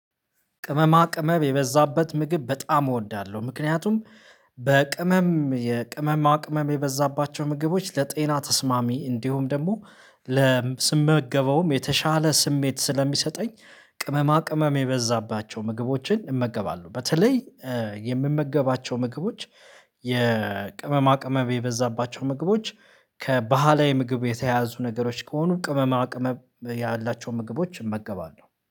ቅመማ ቅመም የበዛበት ምግብ በጣም እወዳለሁ ምክንያቱም በቅመም የቅመማ ቅመም የበዛባቸው ምግቦች ለጤና ተስማሚ እንዲሁም ደግሞ ስመገበውም የተሻለ ስሜት ስለሚሰጠኝ ቅመማ ቅመም የበዛባቸው ምግቦችን እመገባለሁ። በተለይ የምመገባቸው ምግቦች የቅመማ ቅመም የበዛባቸው ምግቦች ከባህላዊ ምግብ የተያዙ ነገሮች ከሆኑ ቅመማ ቅመም ያላቸውን ምግቦች እመገባለሁ